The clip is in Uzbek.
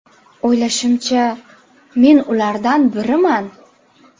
O‘ylashimcha, men ulardan biriman.